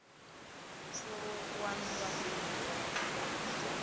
pfuluwa na vhabebi vhawe zwino